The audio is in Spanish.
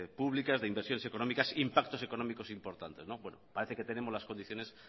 públicas de inversiones económicas impactos económicos importantes parece que tenemos las condiciones